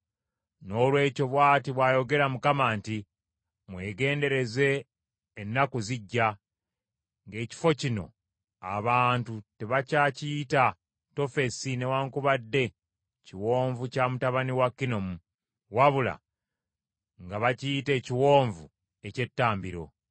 Noolwekyo bw’ati bw’ayogera Mukama nti, Mwegendereze, ennaku zijja, ng’ekifo kino abantu tebakyakiyita Tofesi newaakubadde Kiwonvu kya mutabani wa Kinomu, wabula nga bakiyita ekiwonvu eky’ettambiro.